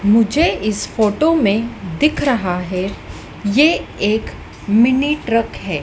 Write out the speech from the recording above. मुझे इस फोटो में दिख रहा है ये एक मिनी ट्रक है।